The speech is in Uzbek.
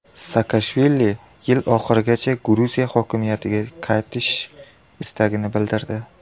Saakashvili yil oxirigacha Gruziya hokimiyatga qaytish istagini bildirdi.